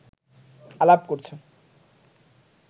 আলাপ করছে